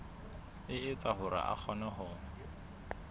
etsa hore a kgone ho